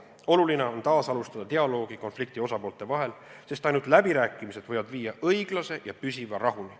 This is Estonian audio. Oluline on taasalustada dialoogi konflikti osapoolte vahel, sest ainult läbirääkimised võivad viia õiglase ja püsiva rahuni.